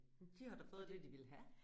De har da fået det de ville have